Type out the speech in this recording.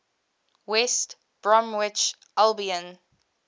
west bromwich albion